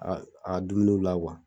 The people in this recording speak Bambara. A a ka dumuniw la